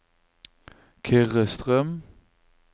Kyrre Strøm